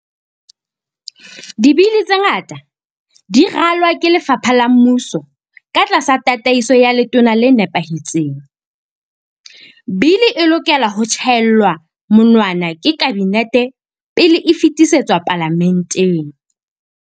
Dibili tse ngata di ralwa ke lefapha la mmuso ka tlasa tataiso ya letona le nepahetseng. Bili e lokela ho tjhaellwa monwana ke Kabinete pele e fetisetswa palamenteng.